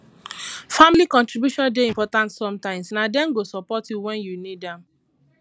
family contributions dey important sometimes na dem go support you wen you need am